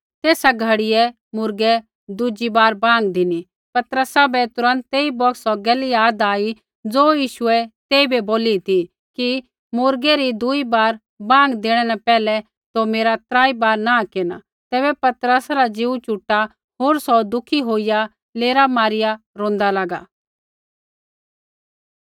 तेसा घड़ियै मुर्गै दुज़ी बार बाँग धिनी पतरसा बै तुरन्त तेई बौगतै सौ गैल याद आई ज़ो यीशुऐ तेइबै बोली ती कि मुर्गै री दूई बार बाँग देणै न पैहलै तौ मेरा त्रा बार नाँह केरना तैबै पतरसा रा ज़ीऊ चुटा होर सौ दुखी होईया लेरा मारिया रोंदा लागा